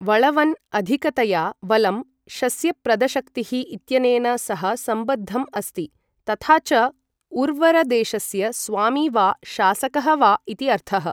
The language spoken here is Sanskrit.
वळवन् अधिकतया वलम् शस्यप्रदशक्तिः इत्यनेन सह सम्बद्धम् अस्ति, तथा च उर्वरदेशस्य स्वामी वा शासकः वा इति अर्थः।